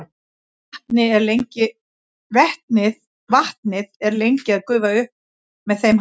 vatnið er lengi að gufa upp með þeim hætti